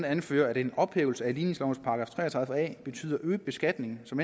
anfører at en ophævelse af ligningslovens § tre og tredive a betyder øget beskatning som